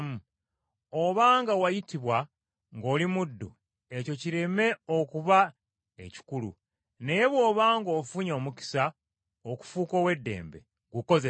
Oba nga wayitibwa ng’oli muddu ekyo kireme okuba ekikulu; naye bw’oba ng’ofunye omukisa okufuuka ow’eddembe, gukozese.